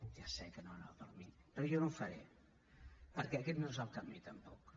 va per mi però jo no ho faré perquè aquest no és el camí tampoc